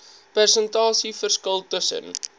persentasie verskil tussen